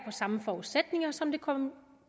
samme forudsætninger som den